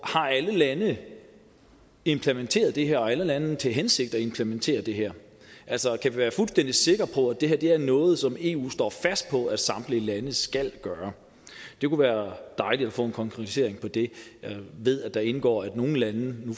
har alle lande implementeret det her og har alle lande til hensigt at implementere det her altså kan være vi fuldstændig sikre på at det her er noget som eu står fast på at samtlige lande skal gøre det kunne være dejligt at få en konkretisering af det jeg ved at der indgår nogle lande